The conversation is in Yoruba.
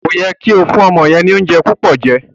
Ko yẹ ki o fún ọmọ yẹn ni oúnjẹ púpọ jẹ.